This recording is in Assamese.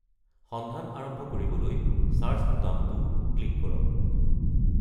সন্ধান আৰম্ভ কৰিবলৈ "চাৰ্চ" বুটামটো ক্লিক কৰক।